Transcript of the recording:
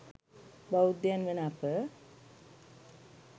බෞද්ධයන් වන අප,